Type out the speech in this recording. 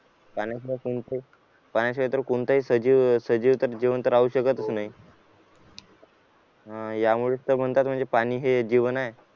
पाण्याशिवाय तर कोणत्याही पाण्याशिवाय तर कोणत्याही सजीव तर जिवंत राहू शकत नाही यामुळेच तर म्हणतात की पाणी हे जीवन आहे.